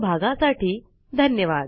सहभागासाठी धन्यवाद